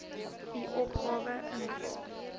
u opgawe invul